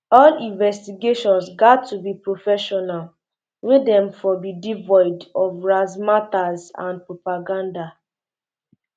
um all investigations gat to be professional wey dem for be devoid of razzmatazz and propaganda